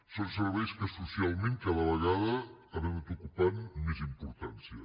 són serveis que socialment cada vegada han anat ocupant més importància